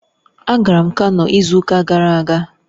Agara m Kano izu uka gara aga